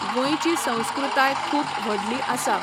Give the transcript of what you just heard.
गोंयची संस्कृताय खूब व्हडली आसा.